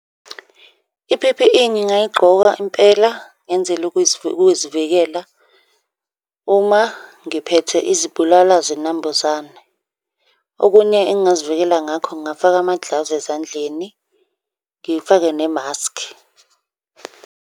I-P_P_E ngingayigqoka impela ngenzela ukuzivikela uma ngiphethe izibulala zinambuzane. Okunye engingazivikela ngakho, ngingafaka ama-gloves ezandleni, ngifake nemaskhi.